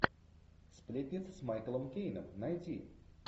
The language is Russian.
сплетницы с майклом кейном найти